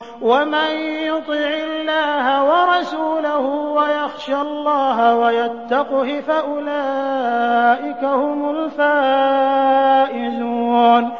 وَمَن يُطِعِ اللَّهَ وَرَسُولَهُ وَيَخْشَ اللَّهَ وَيَتَّقْهِ فَأُولَٰئِكَ هُمُ الْفَائِزُونَ